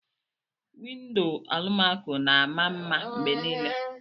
Windo alumaco na ama mma mgbe niile